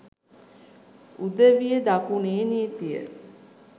උදවිය දකුණේ නීතිය